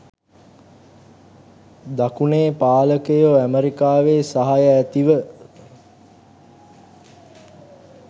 දකුණේ පාලකයෝ ඇමරිකාවේ සහාය ඇතිව